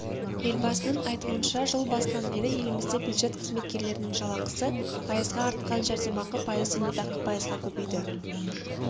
елбасының айтуынша жыл басынан бері елімізде бюджет қызметкерлерінің жалақысы пайызға артқан жәрдемақы пайыз зейнетақы пайызға көбейді